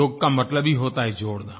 योग का मतलब ही होता है जोड़ना